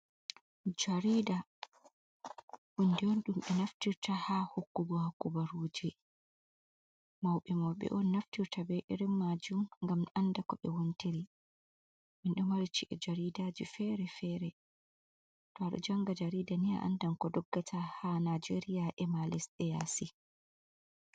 Jarida hunde on ɗum ɓe naftirta ha hokku go kubaruji mauɓe mauɓe on naftirta be irin majune ngam anda ko ɓe wontiri, minɗo mari ci'e jaridaji fere-fere, to a ɗo janga jarida ni a andan ko doggata ha nijeria, e ma lesɗe yasi.